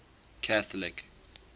catholic